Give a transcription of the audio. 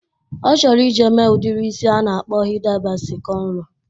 Ọ chọrọ ije mee udiri isi a na-akpọ Hida Basi kọnro.